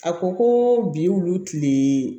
A ko ko bi wulu tile